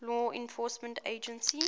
law enforcement agencies